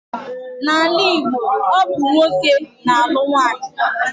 N'ala Igbo, ọ bụ nwoke na-alụ nwaanyị.